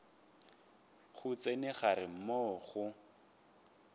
go tsena gare moo go